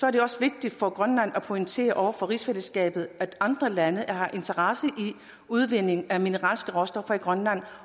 er det også vigtigt for grønland at pointere over for rigsfællesskabet at andre lande har interesse i udvinding af mineralske råstoffer i grønland